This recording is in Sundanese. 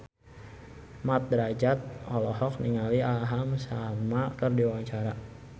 Mat Drajat olohok ningali Aham Sharma keur diwawancara